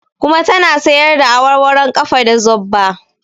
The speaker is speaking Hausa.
Kuma ta na sayarda awarwaron ƙafa da zobba